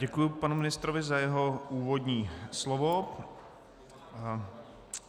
Děkuji panu ministrovi za jeho úvodní slovo.